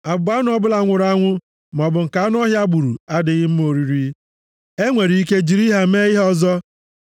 Abụba anụ ọbụla nwụrụ anwụ maọbụ nke anụ ọhịa gburu adịghị mma oriri. E nwere ike jiri ha mee ihe ọzọ.